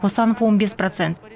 қосанов он бес процент